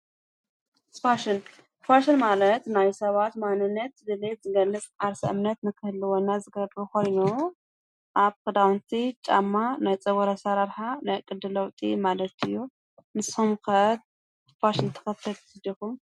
ፋሽን ፋሽን ማለት ናይ ሰባት ማኑነት ድልየት ዝገልጽ ዓርስ እምነት ምክህልወና ዝገብ ኾሪኖ ኣብ ክዳውንቲ ጫማ ናይ ጸጉረሪ አሠራርኃ ናቕድ ለውጢ ማለቲዩ ንሶምከት ስፋሽን ተኸተልቲ ዲኩም?